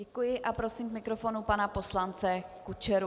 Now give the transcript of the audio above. Děkuji a prosím k mikrofonu pana poslance Kučeru.